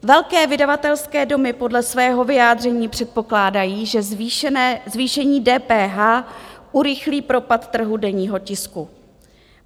Velké vydavatelské domy podle svého vyjádření předpokládají, že zvýšení DPH urychlí propad trhu denního tisku.